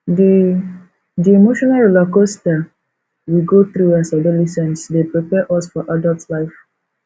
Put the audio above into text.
di di emotional rollercoaster we go through as adolescents dey prepare us for adult life